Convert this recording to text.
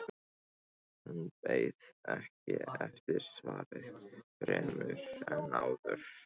Hún beið ekki eftir svari fremur en áður.